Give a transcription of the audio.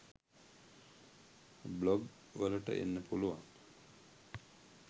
Blog වලට එන්න පුළුවන්.